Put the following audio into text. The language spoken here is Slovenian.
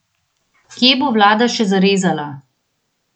Kje bo vlada še zarezala?